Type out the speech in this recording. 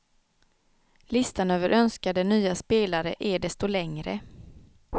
Listan över önskade nya spelare är desto längre.